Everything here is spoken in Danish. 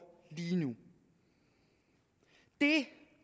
lige nu det